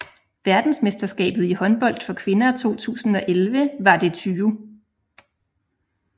Verdensmesterskabet i håndbold for kvinder 2011 var det 20